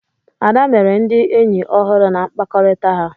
Ada mere ndị enyi ọhụrụ na mkpakọrịta ha.